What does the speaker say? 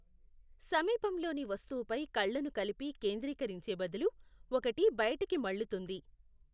సమీపంలోని వస్తువుపై కళ్లను కలిపి కేంద్రీకరించే బదులు, ఒకటి బయటికి మళ్లుతుంది.